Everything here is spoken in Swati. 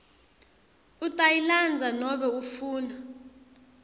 utayilandza nobe ufuna